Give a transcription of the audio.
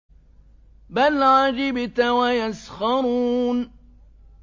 بَلْ عَجِبْتَ وَيَسْخَرُونَ